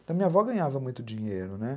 Então, minha avó ganhava muito dinheiro, né?